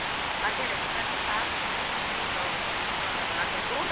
ಹೌದು ಅದೇ ಅದೇ.